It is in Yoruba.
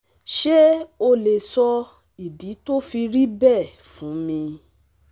ṣé o lè sọ ìdí tó fi rí bẹ́ẹ̀ fún mi?